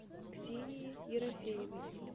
ксении ерофеевой